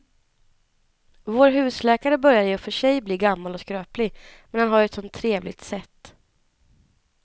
Vår husläkare börjar i och för sig bli gammal och skröplig, men han har ju ett sådant trevligt sätt!